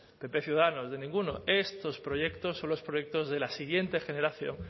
pp ciudadanos de ninguno estos proyectos son los proyectos de la siguiente generación